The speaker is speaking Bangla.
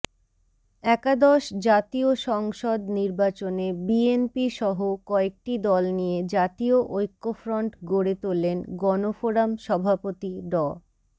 একাদশ জাতীয় সংসদ নির্বাচনে বিএনপিসহ কয়েকটি দল নিয়ে জাতীয় ঐক্যফ্রন্ট গড়ে তোলেন গণফোরাম সভাপতি ড